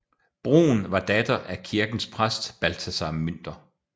Brun var datter af kirkens præst Balthasar Münter